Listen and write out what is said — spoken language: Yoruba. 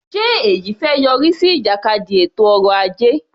Ṣe èyí fẹ́ yọrí sí ìjàkadì ètò ọrọ ajé?